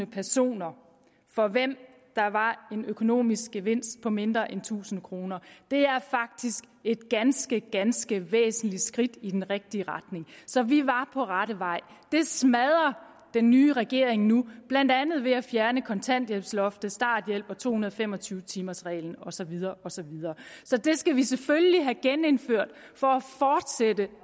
personer for hvem der var en økonomisk gevinst på mindre end tusind kroner det er faktisk et ganske ganske væsentligt skridt i den rigtige retning så vi var på rette vej det smadrer den nye regering nu blandt andet ved at fjerne kontanthjælpsloftet starthjælpen to hundrede og fem og tyve timers reglen og så videre og så videre så det skal vi selvfølgelig have genindført for